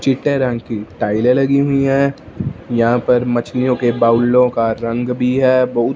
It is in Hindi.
छिटे रंग की टाइले लगी हुई हैं यहां पर मछलियों के बाउलो का रंग भी है बहुत।